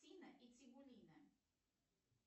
тина и тибулина